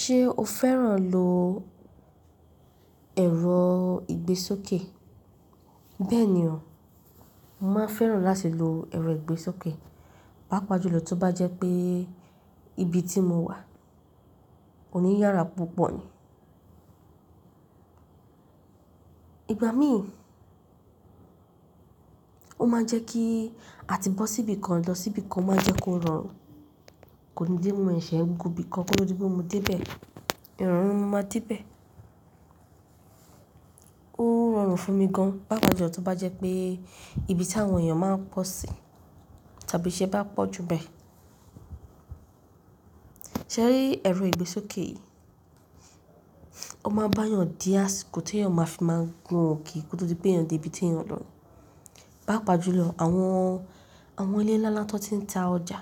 Ṣé o fẹ́ràn lo ẹ̀rọ ìgbésókè? Bẹ́ẹ̀ni o, mo máa fẹ́ràn láti lo ẹ̀rọ ìgbésókè, pàápàá jùlọ tó bá jẹ́ pé ibi tí mo wà ò ní yára púpọ̀ ni. Ìgbà míì, ó máa ń jẹ́ kí a ti bọ́ síbi kan lọ, síbi kan ó máa ń jẹ́ kó rọrùn. Kò ní pé mo ṣẹ̀ ẹ́ gun ibi kan kó tódi pé mo dé lẹ̀. Ìrọ̀rùn mo máa dé bẹ̀. Ó ń rọrùn fún mi gan-an, pàápàá jùlọ tó bá jẹ́ pé ibi tí àwọn èèyàn máa ń pọ̀ sí tàbí iṣe bá pọ̀ jù n bẹ́ẹ̀. Ṣẹ̀rí ẹ̀rọ ìgbésókè yìí, ó máa bá yàn dí àsìkò tí èèyàn máa fi máa gun òkè kó tó di pé eeyàn dé ibi tí eeyàn lọ. Pàápàá jùlọ àwọn, àwọn ilé ńláńlá ti wón ti ń ta ọjà.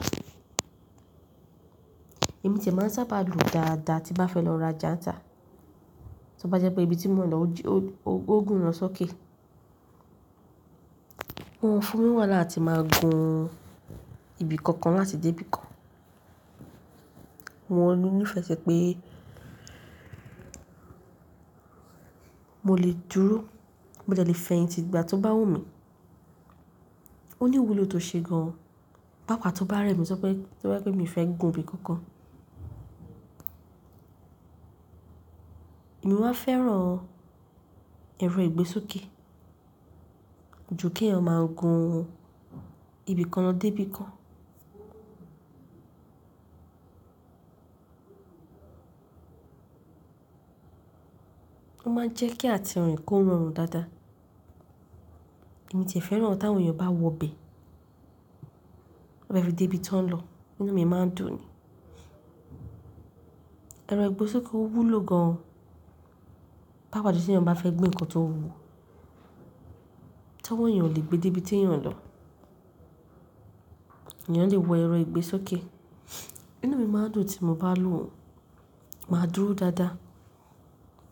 Èmi tìẹ̀ máa ń sábà gùn dáadáa tí n bá fẹ́ lọ rajà ńtà. Tí ó bá jẹ́ pé ibi tí mo ń lọ ò jí-- ó gùn lo sókè. Wọn fún mi wàhálà áti máa gun ibi kankan láti dé ibi kan. Wọ́n ní ìfẹsẹ̀ pé mo lè dúró, mo dẹ̀ lè fẹyin ti dìgbà tó bá wù mí. Ó ní wúlò tó ṣe gan-an, pàápàá tó bá rẹ mí tojepe, tojepé mí fẹ́ gun ibi kankan. Èmi má fẹ́ràn ẹ̀rọ ìgbésókè ju kí èèyàn máa gun ibi kan lọ dé ibi kan. Ó máa ń jẹ́ kí àti rin kó rọrùn dáadáa. Èmi tìẹ̀ fẹ́ràn ti áwon èèyàn bá wọbẹ̀, bá fẹ́ dé ibi tí wọ́n ń lọ, inú mi máa ń dùn ni. Ẹ̀rọ ìgbésókè ó wúlò gan-an, pàápàá tí èèyàn bá fẹ́ gbé nǹkan tó wuwo. Tí owọ èèyàn o le gbé dé ibi tí eeyàn lọ, èèyàn le wọ ẹ̀rọ ìgbésókè. Inú mi máa ń dùn tí mo bá lò ó. Màá dúró dáadáa.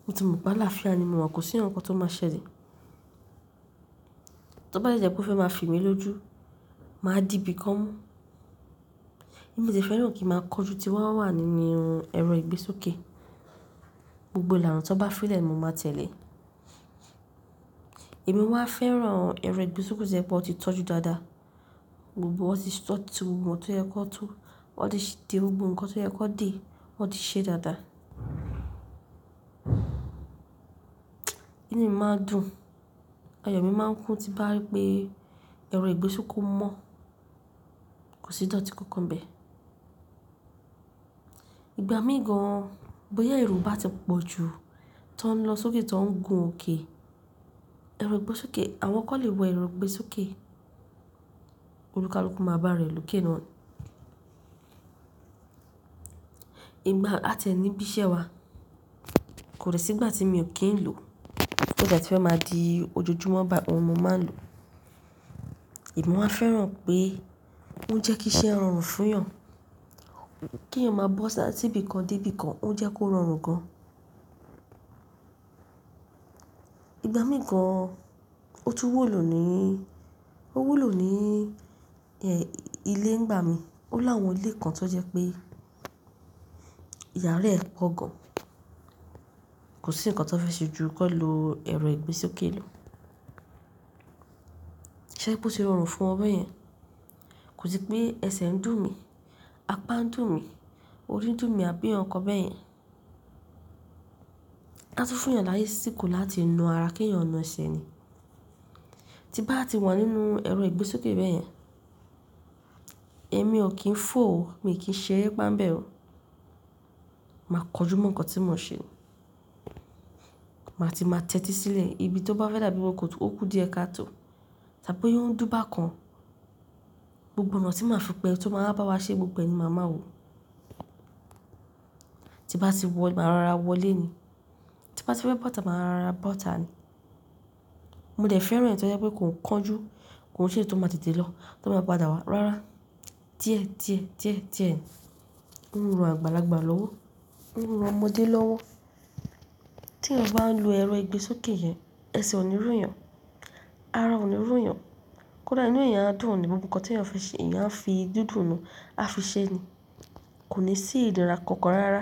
Mo ti mọ̀ pe alàfià ni mo wà, kò sí nkankan tó máa ṣẹlẹ̀. Tí ó bá de jẹ́ pé ó fẹ́ máa fì mí lójú, màá di ibi kan mú. Èmi tìẹ̀ fẹ́ràn kí ń máa kanjú tí wọ́n ó wà nínú ẹ̀rọ ìgbésókè. Gbogbo ìlànà tí wọ́n bá fi lẹ̀ ni, mo máa tẹ̀lé. Èmi wá fẹ́ràn ẹ̀rọ ìgbésókè tojepé wón ti tọ́jú dáadáa. Gbogbo ó ti tí gbogbo ohun tó yẹ ki wón tó, wón ti de gbogbo nkan tó yẹ ki wón de, wón ti ṣe dáadáa. Inú mi máa ń dùn, ayọ̀ mi máa ń kún tí bá rí pé ẹ̀rọ ìgbésókè mọ́, kò sí ìdọ́tí kankan nbẹ́ẹ̀. Ìgbà míì gan-an, bóyá èrò bá ti pọ̀ jù, tí wọ́n ń lọ sókè, tí wọ́n ń gun òkè, ẹ̀rọ ìgbésókè, àwọn kan lè wọ ẹ̀rọ ìgbésókè. Olùkálú máa bá raẹ̀ lókè náà ni. Ìgbà àtiẹ̀ nì n bíṣẹ́ wa, kò dẹ̀ sí ìgbà tí mio kí ń lò. O tíe ti fẹ́ máa di ojojúmọ́ báyi, ohun mo máa ń lò ó. Èmi wá fẹ́ràn pé ó ń jẹ́ kí iṣẹ́ rọrùn fún èèyàn. Kí èèyàn máa bọ́ ṣá tí ibi kan dé ibi kan, ó ń jẹ́ kó rọrùn gan-an. Ìgbà míì gan, ó tún wúlò ní, ó wúlò ní, ilé ńigbà mí. Ó láwọn ilé kan tó jẹ́ pé ìyàrá ẹ pọ̀ gan-an, kò sí nkan tó fẹ́ ṣe ju kó lo ẹ̀rọ ìgbésókè lọ. Ṣéri pe o tí rọrùn fún won bẹ́ẹ̀ yẹn? Kò sì pé ẹsẹ̀ ń dùn mí, apá ń dùn mí, orí ń dùn mí àbí àwọn nkan bẹ́ẹ̀ yẹn. A tun fún èèyàn lásíkò láti na ara kí èèyàn na ẹsẹ̀ ni. Tí bá ti wà nínú ẹ̀rọ ìgbésókè bẹ́ẹ̀ yẹn, èmi ò kí ń fò ó, mi ò kí ń ṣẹ ẹ́re ipa ń bẹ́ẹ̀ ó. Màá kọjú mọ́ nkan tí mo n ṣe. Màá ti máa tẹ́tí sílẹ̀. Ibi tí ó bá fẹ́ dàbí bi, ó kú diẹ káa tó. Tàbí pe boya oun ń dún bà kan, gbogbo ọ̀nà tí màá fi pẹ́ ẹ́ni, tí ó máa wà bá wa ṣe, gbogboẹ ni máa ma wó. Tí bá ti wọ̀, màá ra ara wọlé ni. Tí bá ti fẹ́ bọ̀tá, màá rora bọ̀tá ni. Mo dẹ̀ fẹ́ràn eyiti ó jẹ́ pé kò ń kánjú, kò ń ṣe èyí tí ó máa tètè lọ, tí ó máa padà wá. Rárá. Diẹ́ diẹ́ diẹ́ diẹ́, ó ń rùn àgbàlagbà lọ́wọ́, ó ń rùn ọmọdé lọ́wọ́. Tí èèyàn bá ń lo ẹ̀rọ ìgbésókè yẹn, ẹsẹ̀ ò ní rú èèyàn, ara ò ní rú èèyàn. Kódà inú èèyàn á dùn ni gbogbo nkan tí èèyàn fi ṣe, èèyàn fi dúdú nù, a fi ṣẹ ni. Kò ní sí ìderà kankan rárá.